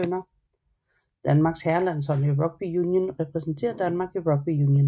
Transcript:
Danmarks herrelandshold i rugby union repræsenterer Danmark i rugby union